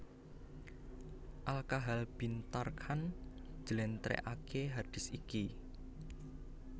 Al Kahal bin Tharkan njlèntrèhake hadits iki